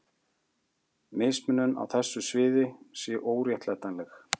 Mismunun á þessu sviði sé óréttlætanleg.